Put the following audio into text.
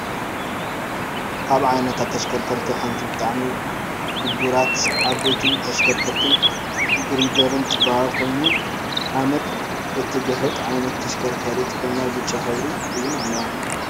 ካብ ዓይነታት ተሽከርከርቲ ሓንቲ በጣዕሚ ጉቡራት ዓበይትን ተሽከርከርትን ጊሪደር ትበሃል ኮይኑ ሓመድ እትግሕጥ ዓይነት ተሽከርካሪት ኮይና ብጫ ሕብሪ እውን ኣለዋ ።